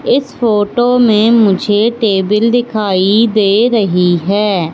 इस फोटो में मुझे टेबिल दिखाई दे रही है।